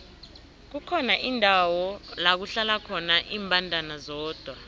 kukhona indawo lakuhlala khona imbandana zodwa